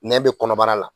Nɛn bɛ kɔnɔbara la